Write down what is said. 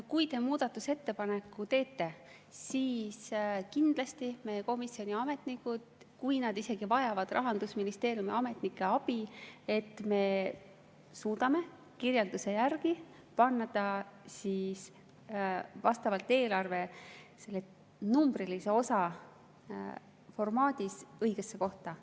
Kui te muudatusettepaneku teete, siis kindlasti meie komisjoni ametnikud, isegi kui nad vajavad selleks Rahandusministeeriumi ametnike abi, suudavad kirjelduse järgi panna selle eelarve numbrilise osa formaadis õigesse kohta.